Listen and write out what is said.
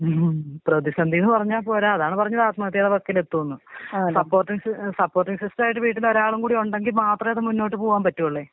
ഉം പ്രതിസന്ധീന്ന് പറഞ്ഞ പോര അതാണ് പറഞ്ഞെ ആത്മഹത്യടെ വക്കിലെത്തും ന്ന് സ്പ്പോർട്ടിങ് സിസ്പോർട്ടിങ് സിസ്റ്റായിട്ട് വീട്ടിലൊരാള് കൂടി ഉണ്ടെങ്കി മാത്രെ ഇത് മുന്നോട്ട് പോവാമ്പറ്റൊള്ളു.